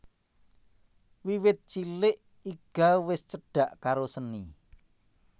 Wiwit cilik Iga wis cedak karo seni